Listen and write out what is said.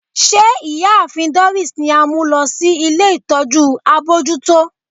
Ṣe Iyaafin Doris ni a mu lọ si ile itọju abojuto?